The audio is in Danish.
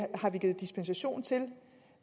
har givet dispensation til